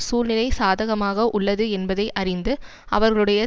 சூழ்நிலை சாதகமாக உள்ளது என்பதை அறிந்து அவர்களுடைய